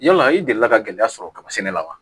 Yala i delila ka gɛlɛya sɔrɔ kaba sɛnɛ la wa